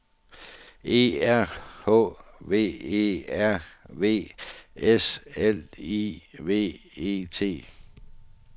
E R H V E R V S L I V E T